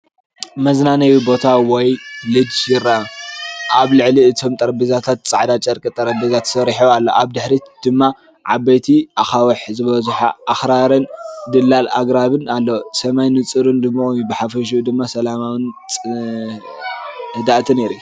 መዝናነዬ ቦታ ወይ ሎጅ ይርአ። ኣብ ልዕሊ እቶም ጠረጴዛታት ጻዕዳ ጨርቂ ጠረጴዛ ተዘርጊሑ ኣሎ። ኣብ ድሕሪት ድማ ዓበይቲ ኣኻውሕ ዝበዝሖ ኣኽራንን ጽላል ኣግራብን ኣሎ። ሰማይ ንጹርን ድሙቕን እዩ። ብሓፈሽኡ ድማ ሰላማውን ህድኣትን የርኢ።